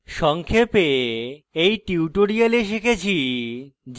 সংক্ষেপে in tutorial শিখেছি